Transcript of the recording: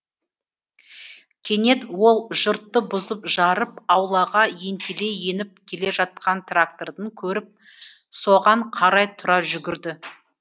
кенет ол жұртты бұзып жарып аулаға ентелей еніп келе жатқан тракторды көріп соған қарай тұра жүгірді